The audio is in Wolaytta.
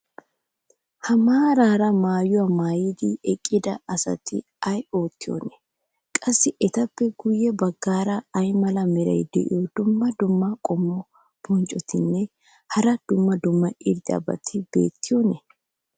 ha maaraara maayuwa maayidi eqqida asati ay oottiyoonaa? qassi etappe guye bagaara ay mala meray diyo dumma dumma qommo bonccotinne hara dumma dumma irxxabati beettiyoonaa?